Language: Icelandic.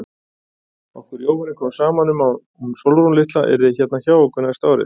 Okkur Jóhanni kom saman um að hún Sólrún litla yrði hérna hjá okkur næsta árið.